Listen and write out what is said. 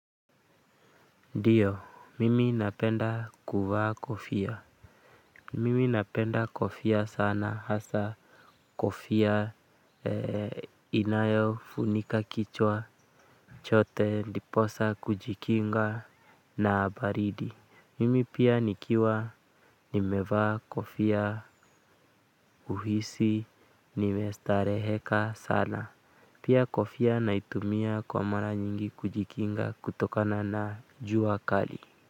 Ndiyo, mimi napenda kuvaa kofia. Mimi napenda kofia sana hasa kofia inayofunika kichwa, chote, ndiposa, kujikinga na baridi. Mimi pia nikiwa nimevaa kofia huhisi nimestareheka sana. Pia kofia naitumia kwa mara nyingi kujikinga kutokana na jua kali.